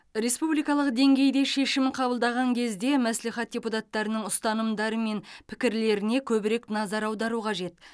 республикалық деңгейде шешім қабылдаған кезде мәслихат депутаттарының ұстанымдары мен пікірлеріне көбірек назар аудару қажет